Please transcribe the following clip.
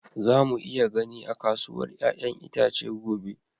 Za mu iya gani a kasuwar 'ya'yan itace gobe